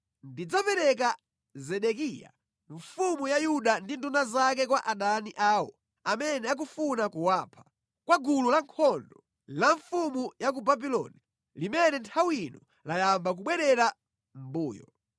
“Ndidzapereka Zedekiya mfumu ya Yuda ndi nduna zake kwa adani awo amene akufuna kuwapha, kwa gulu lankhondo la mfumu ya ku Babuloni limene nthawi ino layamba kubwerera mʼmbuyo.